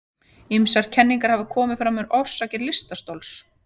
Ýmsar kenningar hafa komið fram um orsakir lystarstols.